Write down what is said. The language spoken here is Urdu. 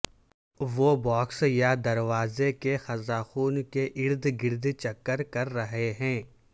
وہ باکس یا دروازے کے قزاقوں کے ارد گرد چکر کر رہے ہیں